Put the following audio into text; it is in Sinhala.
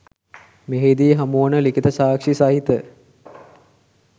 මෙහිදී හමුවන ලිඛිත සාක්‍ෂි සහිත